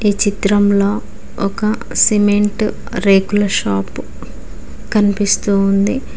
ఈ చిత్రంలో ఒక సిమెంట్ రేకుల షాప్ కనిపిస్తుంది.